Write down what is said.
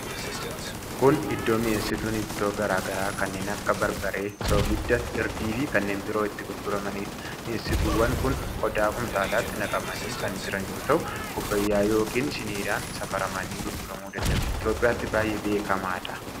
Kun Iddoo mi'eessituun ittoo garaa garaa kanneen akka barbaree, soogidda, hirdii fi kanneen biroo itti gurguramanidha. Mi'eessituuwwan kun qodaa kumtaalatti naqamanii kan jiran yoo ta'u kubbaayyaa yookiin shiniidhaan safaramanii gurguramu danda'u. Itoophiyaatti baay'ee beekamaadha.